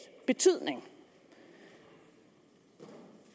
betydning det